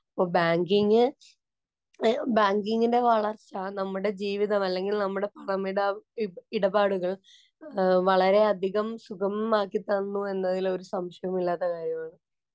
അപ്പോ ബാങ്കിങ്ങ്, ബാങ്കിങ്ങിന്‍റെ വളര്‍ച്ച നമ്മുടെ ജീവിതം അല്ലെങ്കില്‍ നമ്മുടെ പണമിട ഇടപാടുകള്‍ വളരെയധികം സുഗമമാക്കിത്തന്നു എന്നതില്‍ ഒരു സംശയവും ഇല്ലാത്ത കാര്യമാണ്.